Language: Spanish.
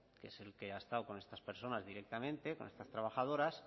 que es el que ha estado con estas personas directamente con estas trabajadoras